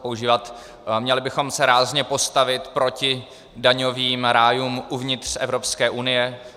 Měli bychom se rázně postavit proti daňovým rájům uvnitř Evropské unie.